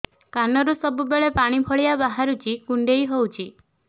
କାନରୁ ସବୁବେଳେ ପାଣି ଭଳିଆ ବାହାରୁଚି କୁଣ୍ଡେଇ ହଉଚି